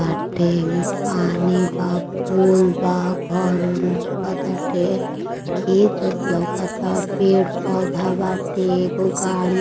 बाटे एमे पानी बा पोल बा। घर-ओर लउकताटे खेत-ओत लउकता। पेड़-पौधा बाटे एगो गाड़ी --